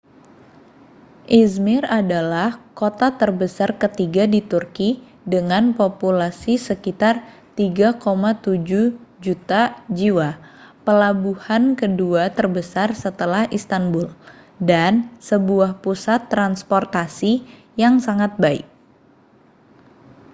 ä°zmir adalah kota terbesar ketiga di turki dengan populasi sekitar 3,7 juta jiwa pelabuhan kedua terbesar setelah istanbul dan sebuah pusat transportasi yang sangat baik